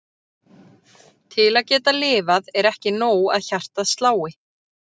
Til að geta lifað er ekki nóg að hjartað slái.